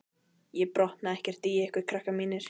Ég botna ekkert í ykkur, krakkar mínir.